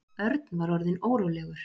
Örn var orðinn órólegur.